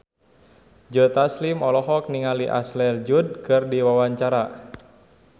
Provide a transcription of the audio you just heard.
Joe Taslim olohok ningali Ashley Judd keur diwawancara